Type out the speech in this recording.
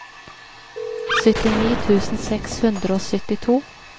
syttini tusen seks hundre og syttito